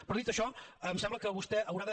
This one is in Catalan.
però dit això em sembla que vostè haurà de